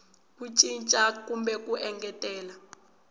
ku cinca kumbe ku engetela